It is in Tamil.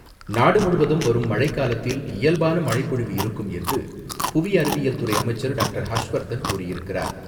நாடுமுழுவதும் வரும் மழைக்காலத்தில் இயல்பான மழைப்பொழிவு இருக்கும் என்று, புவி அறிவியல் துறை அமைச்சர் டாக்டர்.ஹர்ஷ்வர்தன் கூறியிருக்கிறார்.